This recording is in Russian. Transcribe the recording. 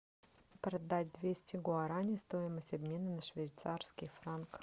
продать двести гуарани стоимость обмена на швейцарский франк